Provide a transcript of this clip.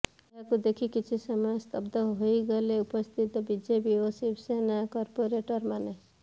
ଏହାକୁ ଦେଖି କିଛି ସମୟ ସ୍ତବ୍ଧ ହୋଇଗଲେ ଉପସ୍ଥିତ ବିଜେପି ଓ ଶିବସେନା କର୍ପୋରେଟର ମାନେ